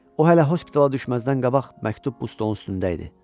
O hələ hospitala düşməzdən qabaq məktub bu stolun üstündə idi.